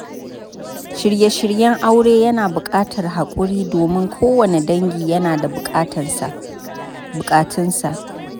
Shirye-shiryen aure yana buƙatar haƙuri, domin kowanne dangi yana da bukatunsa.